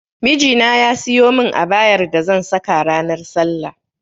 Miji na ya siyo mun abayar da zan saka ranar sallah